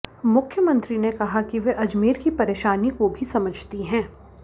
मुख्यमंत्री ने कहा कि वे अजमेर की परेशानी को भी समझती हैं